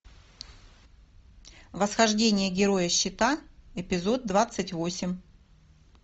восхождение героя щита эпизод двадцать восемь